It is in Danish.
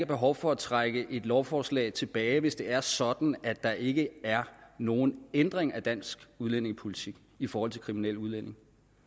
behov for at trække et lovforslag tilbage hvis det er sådan at der ikke er nogen ændring af dansk udlændingepolitik i forhold til kriminelle udlændinge